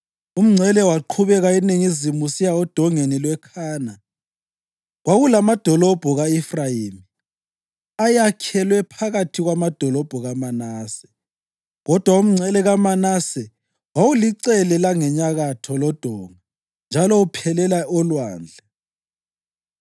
Umngcele waqhubeka eningizimu usiya oDongeni lweKhana. Kwakulamadolobho ka-Efrayimi ayakhelwe phakathi kwamadolobho kaManase, kodwa umngcele kaManase wawulicele langenyakatho lodonga njalo uphelela olwandle.